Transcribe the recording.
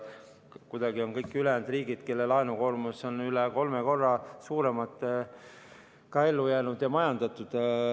Kuidagi on kõik riigid, kelle laenukoormus on üle kolme korra suurem, ka ellu jäänud ja majandatud.